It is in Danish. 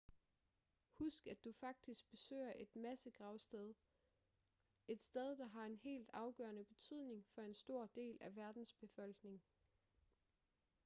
husk at du faktisk besøger et massegravsted et sted der har en helt afgørende betydning for en stor del af verdens befolkning